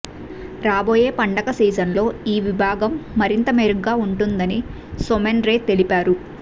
రాబోయే పండుగ సీజన్లో ఈ విభాగం మరింత మెరుగ్గా ఉంటుందని సోమెన్ రే తెలిపారు